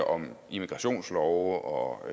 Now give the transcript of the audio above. om immigrationslove og